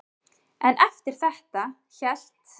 En eftir þetta hélt